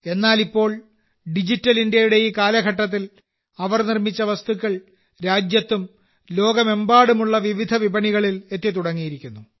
എന്നാൽ ഇപ്പോൾ ഡിജിറ്റൽ ഇന്ത്യയുടെ ഈ കാലഘട്ടത്തിൽ അവർ നിർമ്മിച്ച വസ്തുക്കൾ രാജ്യത്തും ലോകമെമ്പാടുമുള്ള വിവിധ വിപണികളിൽ എത്തിത്തുടങ്ങിയിരിക്കുന്നു